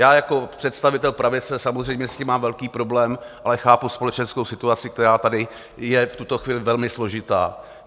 Já jako představitel pravice samozřejmě s tím mám velký problém, ale chápu společenskou situaci, která tady je v tuto chvíli velmi složitá.